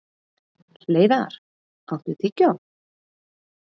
Hleiðar, áttu tyggjó?